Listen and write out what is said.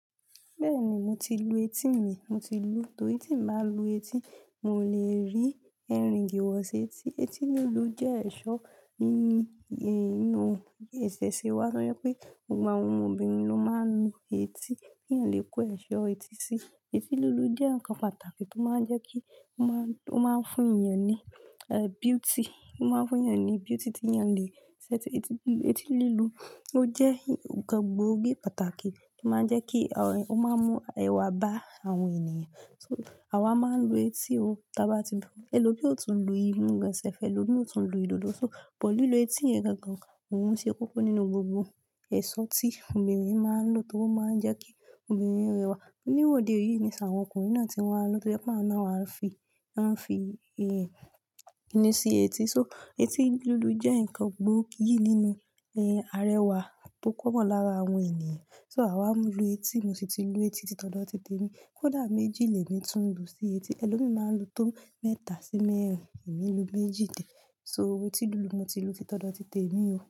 Bẹ́ẹ̀ni mo ti lu etí mi, mo ti lu, torí tí n n bá lu etí, mi ò lè rí ear ring wọ setí. Etí lílu jẹ́ ẹ̀ṣọ́ ní inú ìṣẹ̀ṣe wa, torí pé gbogbo àwọn obìnrin ló máa ń lu etí kí eyan le kó ẹ̀ṣọ́ etí sí i. Etí lílu jẹ́ nǹkan pàtàkì tó máa ń jẹ́ kí ó máa ń fún èèyàn ní beauty, ó máa ń fún èèyàn ní beauty tí èèyàn le ṣe etí lílu ó jẹ́ nǹkan gbóògì pàtàkì tó máa ń jẹ́ kí ó máa ń mú ẹwà bá àwọn ènìyàn. So àwa máa ń lu etí o, tà bá ti lu, ẹlòmí ó tún lu imú gan, ẹlòmí ó tún lu ìdòdo, so lílu etí yẹn gangan, òun ṣe kókó nínú gbogbo ẹ̀ṣọ́ tí obìnrin máa ń lò tóri o máa ń jẹ́ kí obìnrin rẹwà. Ní ìwọde yìí niṣin àwọn ọkùnrin náà tí wọ́n lu tó jẹ́ pé àwọn ná wá fi, wọ́n fi kíní sí etí. So etí lílu jẹ́ nǹkan gbóògì nínú ara ẹwà tó comon lára àwọn ènìyàn. So àwa ń lu etí, mo sì ti lu etí títọ́do títi temi. Kọ̀dà méjì lèmi tún lu sí etí, ẹlòmí máa ń lu tó mẹ́ta sí mẹ́rin, èmi lu méjì so etí lílu mo ti lu títodo títi temiì o.